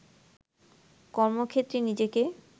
কর্মক্ষেত্রে নিজেকে